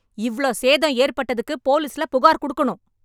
இவ்ளோ சேதம் ஏற்பட்டதுக்கு போலிஸ்ல புகார் குடுக்கணும்...